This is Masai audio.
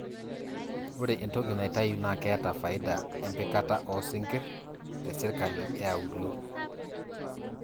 ore entoki naitayu naa keeta faida empikata oosinkir te sirkali eauluo